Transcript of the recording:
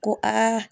Ko aa